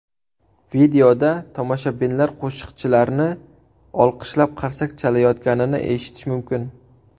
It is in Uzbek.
Videoda tomoshabinlar qo‘shiqchilarni olqishlab, qarsak chalayotganini eshitish mumkin.